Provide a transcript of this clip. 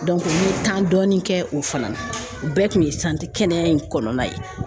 n ye dɔɔni kɛ o fana na, o bɛɛ kun ye kɛnɛa in kɔnɔna ye .